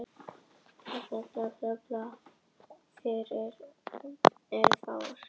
Oft er það þannig að uppruni er umdeildur þegar heimildir eru fáar.